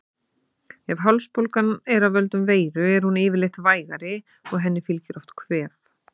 Ef hálsbólgan er af völdum veiru er hún yfirleitt vægari og henni fylgir oft kvef.